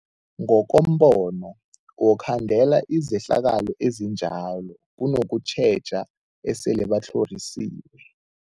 Ngokombono wokukhandela izehlakalo ezinjalo kunokutjheja esele batlhorisiwe.